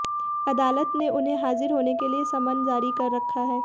अदालत ने उन्हें हाजिर होने के लिए समन जारी कर रखा है